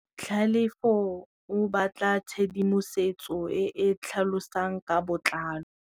Tlhalefô o batla tshedimosetsô e e tlhalosang ka botlalô.